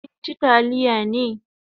Kin chi taliya ne?